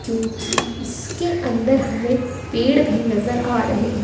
क्योंकि इसके अंदर हमें पेड़ भी नजर आ रहे हैं।